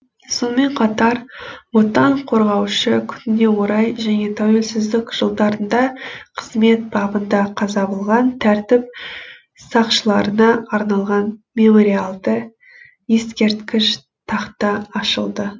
сонымен қатар отан қорғаушы күніне орай және тәуелсіздік жылдарында қызмет бабында қаза болған тәртіп сақшыларына арналған мемориалды ескерткіш тақта ашылды